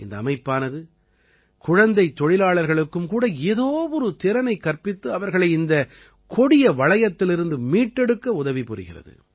இந்த அமைப்பானது குழந்தைத் தொழிலாளர்களுக்கும் கூட ஏதோ ஒரு திறனைக் கற்பித்து அவர்களை இந்தக் கொடிய வளையத்திலிருந்து மீட்டெடுக்க உதவி புரிகிறது